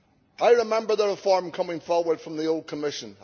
I remember the reform coming forward from the old Commission.